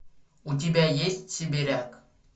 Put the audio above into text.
у тебя есть сибиряк